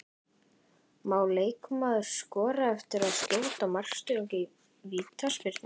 Má leikmaður skora eftir að skjóta í markstöng úr vítaspyrnu?